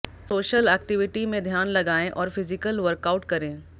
social activity में ध्यान लगाएं और फिजिकल वर्कआउट करें